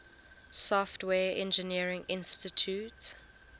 software engineering institute